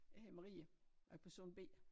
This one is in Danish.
Jeg hedder Marie og er person B